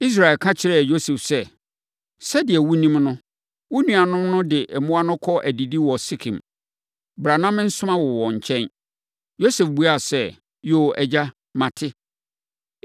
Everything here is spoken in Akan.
Israel ka kyerɛɛ Yosef sɛ, “Sɛdeɛ wonim no, wo nuanom no de mmoa no kɔ adidi wɔ Sekem. Bra, na mensoma wo wɔn nkyɛn.” Yosef buaa sɛ, “Yoo, agya, mate.”